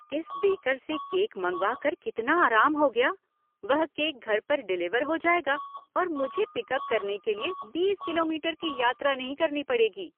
इस बेकर से केक मंगवाकर कितना आराम हो गया। वह केक घर पर डिलीवर हो जाएगा और मुझे पिकअप करने के लिए बीस किलोमीटर की यात्रा नहीं करनी पड़ेगी।